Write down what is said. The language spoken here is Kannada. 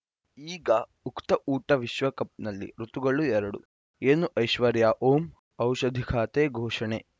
ಈಗ ಉಕುತ ಊಟ ವಿಶ್ವಕಪ್‌ನಲ್ಲಿ ಋತುಗಳು ಎರಡು ಏನು ಐಶ್ವರ್ಯಾ ಓಂ ಔಷಧಿ ಖಾತೆ ಘೋಷಣೆ